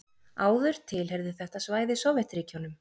Áður tilheyrði þetta svæði Sovétríkjunum.